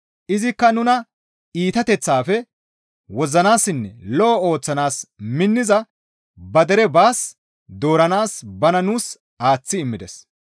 Izikka nuna iitateththaafe wozzanaassinne lo7o ooththanaas minniza ba dere baas dooranaas bana nuus aaththi immides.